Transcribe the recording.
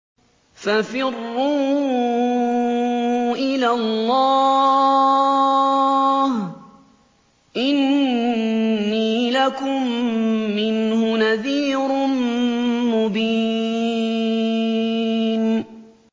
فَفِرُّوا إِلَى اللَّهِ ۖ إِنِّي لَكُم مِّنْهُ نَذِيرٌ مُّبِينٌ